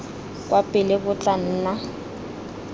kwa pele bo tla nna